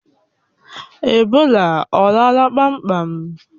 Ebola ọ lala kpamkpam?